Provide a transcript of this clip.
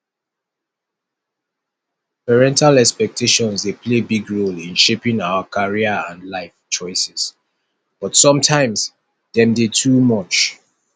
parental expectations dey play big role in shaping our career and life choices but sometimes dem dey too much